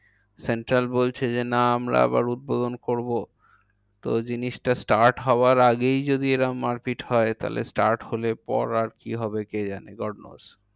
Central বলছে যে না আমরা আবার উদ্বোধন করবো। তো জিনিসটা start হওয়ার আগেই যদি এরম মারপিট হয়, তাহলে start হলে পর, আর কি হবে কে জানে? God knows